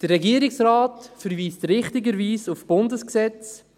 Der Regierungsrat verweist richtigerweise auf das Bundesrecht.